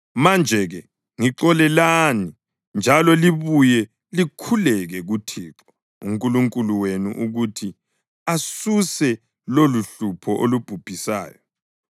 Manje-ke ngixolelani njalo libuye likhuleke kuThixo uNkulunkulu wenu ukuthi asuse loluhlupho olubhubhisayo.”